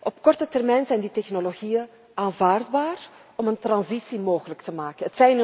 Op korte termijn zijn die technologieën aanvaardbaar om een transitie mogelijk te maken.